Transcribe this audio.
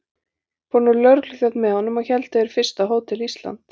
Fór nú lögregluþjónn með honum, og héldu þeir fyrst að Hótel Ísland.